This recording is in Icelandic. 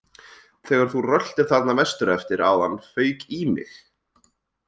Þegar þú röltir þarna vestur eftir áðan fauk í mig